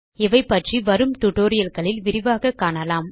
இவைபற்றி வரும் டியூட்டோரியல் களில் விரிவாக காணலாம்